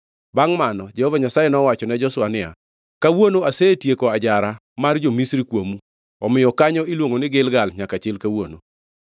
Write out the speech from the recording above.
Bangʼ mano, Jehova Nyasaye nowachone Joshua niya, “Kawuono asetieko ajara mar jo-Misri kuomu.” Omiyo kanyo iluongo ni Gilgal nyaka chil kawuono.